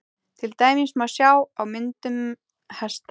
til dæmis má sjá á myndunum hesta